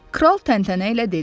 Kral təntənə ilə dedi.